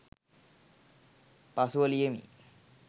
පසුව ලියමි